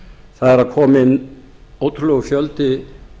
það er að koma inn ótrúlegur fjöldi